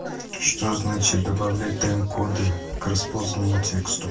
что значит добавлять таймкоды к распознаному тексту